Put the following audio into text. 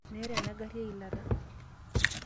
Meeta ena gari eilata.